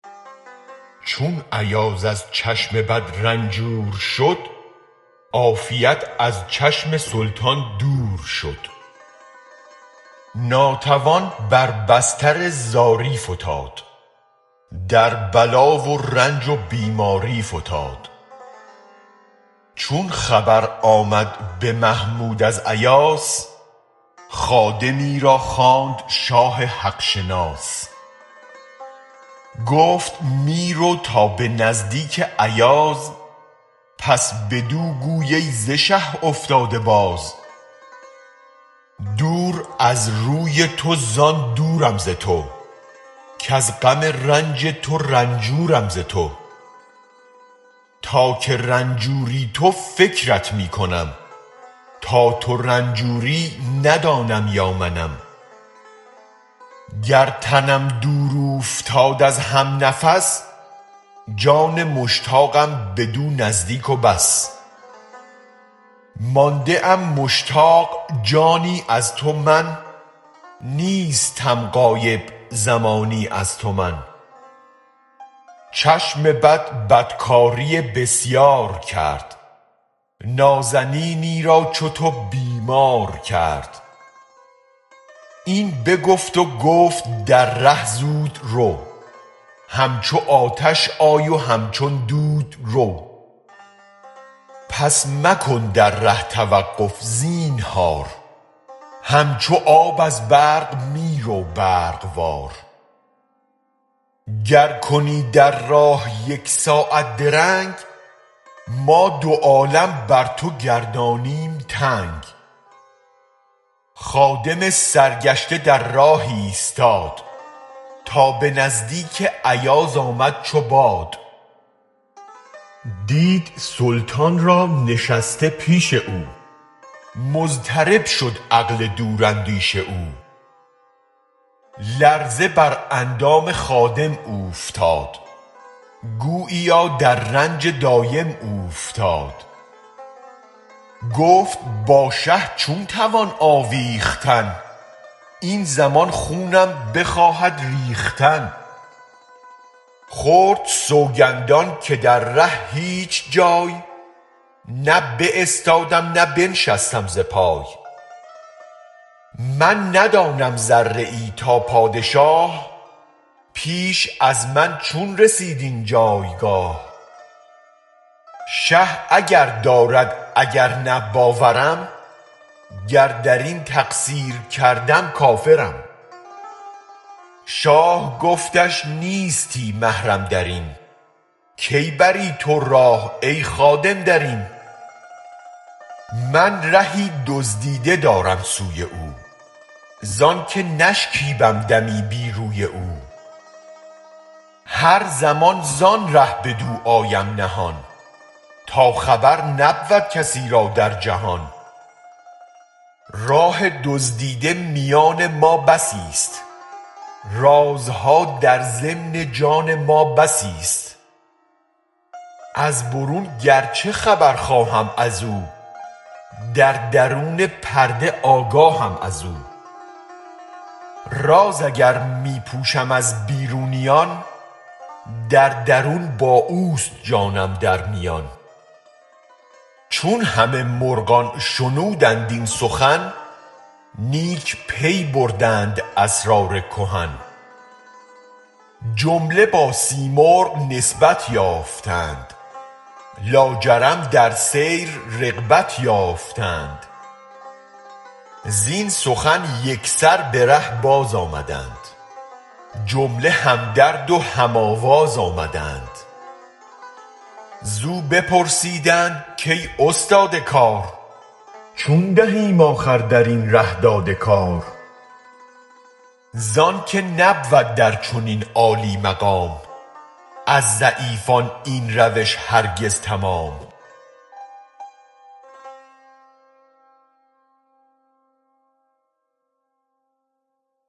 چون ایاز از چشم بد رنجور شد عافیت از چشم سلطان دور شد ناتوان بر بستر زاری فتاد در بلا و رنج و بیماری فتاد چون خبر آمد به محمود از ایاس خادمی را خواند شاه حق شناس گفت می رو تا به نزدیک ایاز پس بدو گوی ای ز شه افتاده باز دور از روی تو زآن دورم ز تو کز غم رنج تو رنجورم ز تو تا که رنجوری تو فکرت می کنم تا تو رنجوری ندانم یا منم گر تنم دور اوفتاد از هم نفس جان مشتاقم بدو نزدیک و بس مانده ام مشتاق جانی از تو من نیستم غایب زمانی از تو من چشم بد بدکاری بسیار کرد نازنینی را چو تو بیمار کرد این بگفت و گفت در ره زود رو همچو آتش آی و همچون دود رو پس مکن در ره توقف زینهار همچو آب از برق می رو برق وار گر کنی در راه یک ساعت درنگ ما دو عالم بر تو گردانیم تنگ خادم سرگشته در راه ایستاد تا به نزدیک ایاز آمد چو باد دید سلطان را نشسته پیش او مضطرب شد عقل دوراندیش او لرزه بر اندام خادم اوفتاد گوییا در رنج دایم اوفتاد گفت با شه چون توان آویختن این زمان خونم بخواهد ریختن خورد سوگندان که در ره هیچ جای نه باستادم نه بنشستم ز پای من ندانم ذره ای تا پادشاه پیش از من چون رسید این جایگاه شه اگر دارد اگر نه باورم گر درین تقصیر کردم کافرم شاه گفتش نیستی محرم درین کی بری تو راه ای خادم درین من رهی دزدیده دارم سوی او زآنک نشکیبم دمی بی روی او هر زمان زآن ره بدو آیم نهان تا خبر نبود کسی را در جهان راه دزدیده میان ما بسی ست رازها در ضمن جان ما بسی ست از برون گر چه خبر خواهم ازو در درون پرده آگاهم ازو راز اگر می پوشم از بیرونیان در درون با اوست جانم در میان چون همه مرغان شنودند این سخن نیک پی بردند اسرار کهن جمله با سیمرغ نسبت یافتند لاجرم در سیر رغبت یافتند زین سخن یک سر به ره باز آمدند جمله هم درد و هم آواز آمدند زو بپرسیدند کای استاد کار چون دهیم آخر درین ره داد کار زآنک نبود در چنین عالی مقام از ضعیفان این روش هرگز تمام